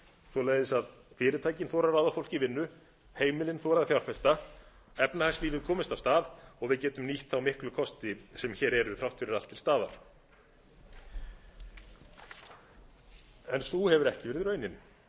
svoleiðis að fyrirtækin þori að ráða fólk í vinnu heimilin þori að fjárfesta efnahagslífið komist af stað og við getum nýtt þá miklu kosti sem hér eru þrátt fyrir allt til staðar en sú hefur ekki orðið raunin í